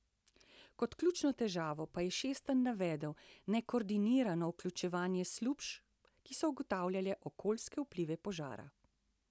Kot ključno težavo pa je Šestan navedel nekoordinirano vključevanje služb, ki so ugotavljale okoljske vplive požara.